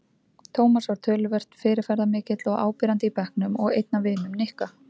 Tómas var töluvert fyrirferðarmikill og áberandi í bekknum og einn af vinum Nikka.